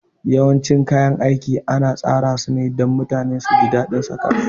Yawancin kayan aiki ana tsara sune dan mutane suji dadin saka su